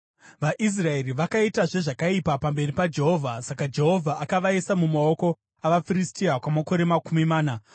VaIsraeri vakaitazve zvakaipa pamberi paJehovha, saka Jehovha akavaisa mumaoko avaFiristia kwamakore makumi mana.